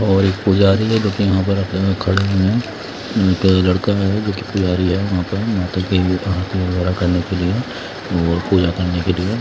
और एक पुजारी है एक लड़का है जो की पुजारी है वहां पर पूजा करने के लिए।